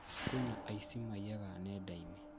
Kwĩna aici maiyaga nendainĩ